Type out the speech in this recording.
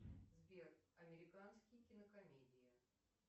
сбер американские кинокомедии